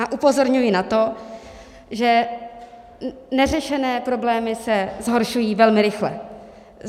A upozorňuji na to, že neřešené problémy se zhoršují velmi rychle.